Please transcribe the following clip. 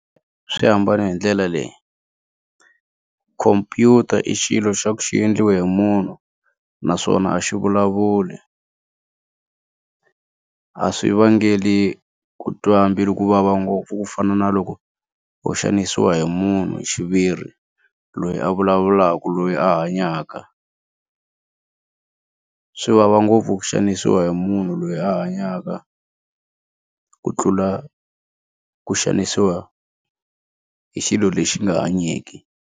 Swi hambane hi ndlela leyi khompyutara i xilo xa ku xi endliwa hi munhu naswona a xi vulavuli a swi vangeli ku twa mbilu kuvava ngopfu ku fana na loko u xanisiwa hi munhu hi xiviri loyi a vulavulaka loyi a hanyaka swi vava ngopfu ku xanisiwa hi munhu loyi a hanyaka ku tlula ku xanisiwa hi xilo lexi nga hanyiki.